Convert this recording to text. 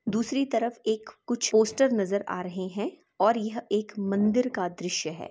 दूसरी तरफ एक कुछ पोस्टर नजर आ रहे है और यह एक मंदिर का दृश्य है।